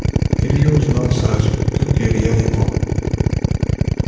илью узнал сразу как и илья его